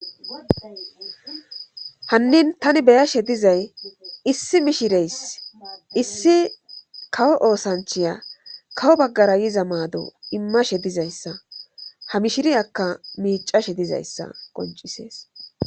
Hannin tani be'ashe dizay issi mishireys issi kawo oosanchiya kawo baggara yiza maado immashe dizayssa ha mishiri akka miicashe dizayssa qoncisees.